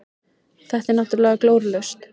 Þetta er náttúrulega glórulaust.